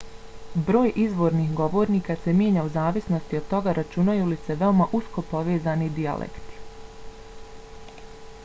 broj izvornih govornika se mijenja u zavisnosti od toga računaju li se veoma usko povezani dijalekti